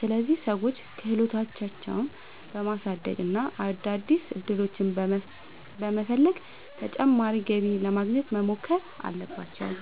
ስለዚህ ሰዎች ክህሎታቸውን በማሳደግ እና አዳዲስ ዕድሎችን በመፈለግ ተጨማሪ ገቢ ለማግኘት መሞከር አለባቸው።